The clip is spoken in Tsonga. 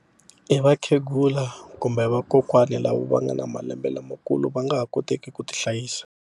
I vakhegula kumbe vakokwani lava va nga na malembe lamakulu va nga ha koteki ku tihlayisa.